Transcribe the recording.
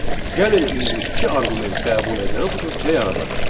Gəlin indi iki arqument qəbul edən funksiya yaradaq.